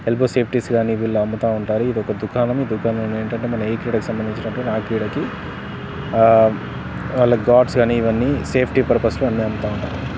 elbow safeties గాని వీళ్లు అమ్ముతా ఉంటారు ఇది ఒక దుఖానము ఈ దుఖానంలో ఏంటంటే మనం ఏ క్రీడకి సంబంధించినటి ఆ క్రీడకి ఆహ్హ లైక్ గార్డ్స్ కానీ ఇవన్నీ సేఫ్టీ పర్పస్ లు అన్నీ అమ్ముతా ఉంటారు